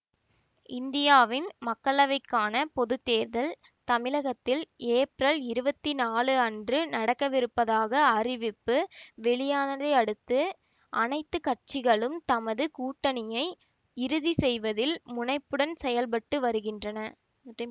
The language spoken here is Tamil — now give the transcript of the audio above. இந்தியாவின் மக்களவைக்கான பொது தேர்தல் தமிழகத்தில் ஏப்ரல் இருபத்தி நாலு அன்று நடக்கவிருப்பதாக அறிவிப்பு வெளியானதையடுத்து அனைத்து கட்சிகளும் தமது கூட்டணியை இறுதிசெய்வதில் முனைப்புடன் செயல்பட்டு வருகின்றன